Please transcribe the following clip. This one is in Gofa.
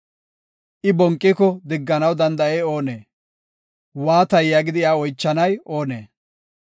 I bonqiko digganaw danda7ey oonee? ‘Waatay?’ yaagidi iya oychanay oonee?